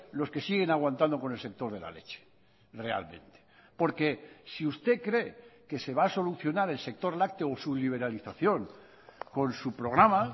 los que siguen aguantando con el sector de la leche realmente porque si usted cree que se va a solucionar el sector lácteo o su liberalización con su programa